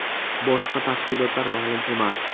Boshqa tafsilotlar ma’lum emas.